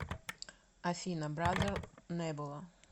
афина бразер небула